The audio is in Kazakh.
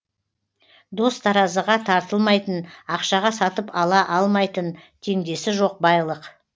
дос таразыға тартылмайтын ақшаға сатып ала алмайтын теңдесі жоқ байлық